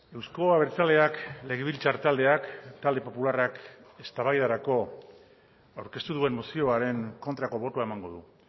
euzko abertzaleak legebiltzar taldeak talde popularrak eztabaidarako aurkeztu duen mozioaren kontrako botoa emango du